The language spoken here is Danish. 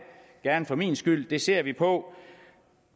gerne for min skyld det ser vi på